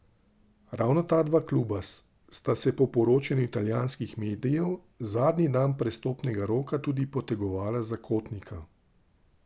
Ravno ta dva kluba sta se po poročanju italijanskih medijev zadnji dan prestopnega roka tudi potegovala za Kotnika.